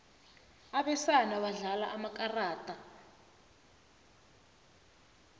abesana badlala amakarada